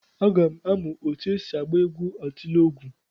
Aga m amụ etu esi agba egwu atilọgwụ.